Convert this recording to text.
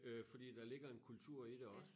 Øh fordi der ligger en kultur i det også